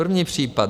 První případ.